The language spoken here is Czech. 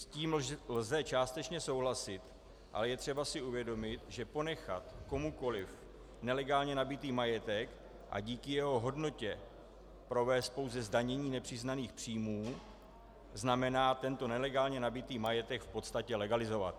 S tím lze částečně souhlasit, ale je třeba si uvědomit, že ponechat komukoli nelegálně nabytý majetek a díky jeho hodnotě provést pouze zdanění nepřiznaných příjmů znamená tento nelegálně nabytý majetek v podstatě legalizovat.